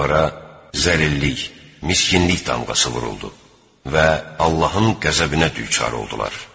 Onlara zəlillik, miskinlik damğası vuruldu və Allahın qəzəbinə düçar oldular.